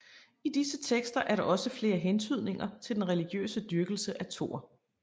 I disse tekster er der også flere hentydninger til den religiøse dyrkelse af Thor